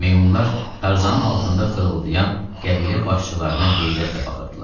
Meymunlar Tarzanın altında xırıldayan qəbilə başçılarına heyrətlə baxırdılar.